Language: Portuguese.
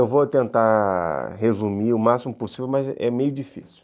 vou tentar resumir o máximo possível, mas é meio difícil.